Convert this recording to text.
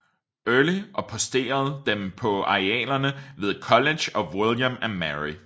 Early og posteret dem på arealerne ved College of William and Mary